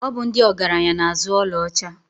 Ọ bụ ndị ọgaranya na-azụ ọlaọcha.